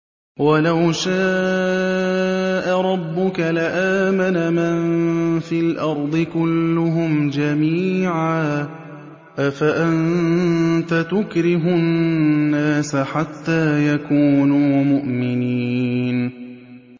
وَلَوْ شَاءَ رَبُّكَ لَآمَنَ مَن فِي الْأَرْضِ كُلُّهُمْ جَمِيعًا ۚ أَفَأَنتَ تُكْرِهُ النَّاسَ حَتَّىٰ يَكُونُوا مُؤْمِنِينَ